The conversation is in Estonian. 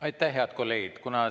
Aitäh, head kolleegid!